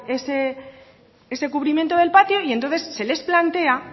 ese cubrimiento del patio y entonces se les plantea